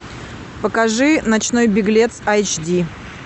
покажи ночной беглец айч ди